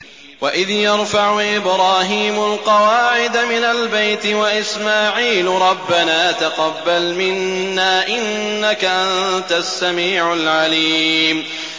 وَإِذْ يَرْفَعُ إِبْرَاهِيمُ الْقَوَاعِدَ مِنَ الْبَيْتِ وَإِسْمَاعِيلُ رَبَّنَا تَقَبَّلْ مِنَّا ۖ إِنَّكَ أَنتَ السَّمِيعُ الْعَلِيمُ